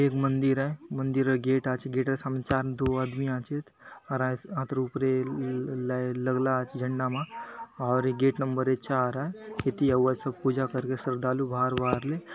एक मंदिर आय मंदिरर गेट आचे गेटर सामने चार दो आदमी आचेत हतर ऊपरे ल_ल_लगला आचे झण्डा मा आउरी ये गेट नंबर चार आय इति आउआतसब पूजा करके श्रद्धालु बहार बहार ले।